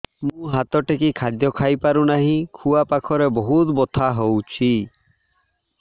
ମୁ ହାତ ଟେକି ଖାଦ୍ୟ ଖାଇପାରୁନାହିଁ ଖୁଆ ପାଖରେ ବହୁତ ବଥା ହଉଚି